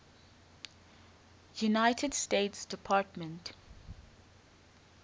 united states department